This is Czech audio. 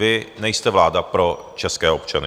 Vy nejste vláda pro české občany.